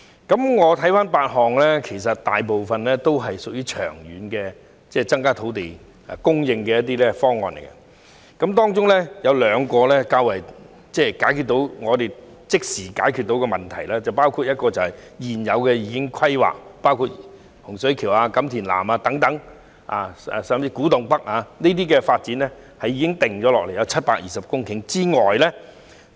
在這8個方案中，大部分也屬於長遠增加土地供應的方案，其中兩項可以即時解決問題，包括現有已規劃的土地，例如洪水橋、錦田南以至古洞北，這些發展涵蓋共720公頃的土地。